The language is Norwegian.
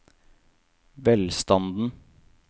velstanden